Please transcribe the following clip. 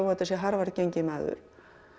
þetta sé Harvard genginn maður